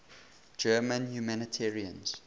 german humanitarians